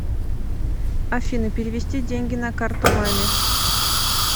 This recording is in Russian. афина перевести деньги на карту маме